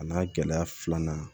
A n'a gɛlɛya filanan